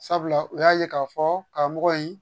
Sabula u y'a ye k'a fɔ karamɔgɔ in